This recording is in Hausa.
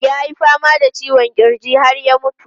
Ya yi fama da ciwon kirji har ya mutu.